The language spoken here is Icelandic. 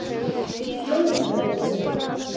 Þjóðbraut